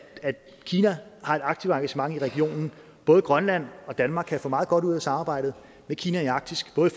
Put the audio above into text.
kina har et aktivt engagement i regionen både grønland og danmark kan få meget godt ud af samarbejdet med kina i arktis både